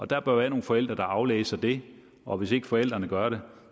der bør være nogle forældre der aflæser det og hvis ikke forældrene gør